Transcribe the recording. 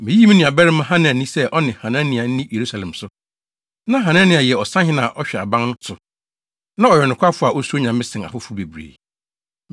Miyii me nuabarima Hanani sɛ ɔne Hanania nni Yerusalem so. Na Hanania yɛ ɔsahene a ɔhwɛ aban no so, na ɔyɛ ɔnokwafo a osuro Nyame sen afoforo bebree.